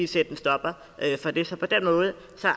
sætte en stopper for det så på den måde